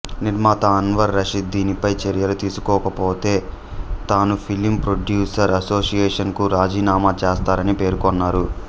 నిర్మాత అన్వర్ రషీద్ దీనిపై చర్యలు తీసుకొనకపోతే తాను ఫిలిం ప్రొడ్యూసర్స్ అసోషియన్ కు రాజీనామా చేస్తానని పేర్కొన్నారు